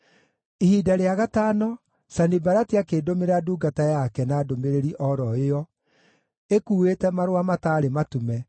Ihinda rĩa gatano Sanibalati akĩndũmĩra ndungata yake na ndũmĩrĩri o ro ĩyo, ĩkuuĩte marũa mataarĩ matume,